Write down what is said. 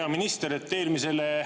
Hea minister!